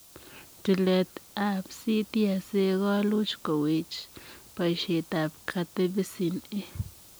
Tileet ap CTSA koluuch kowech poisietap Katepisin A.